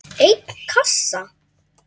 einn kassa?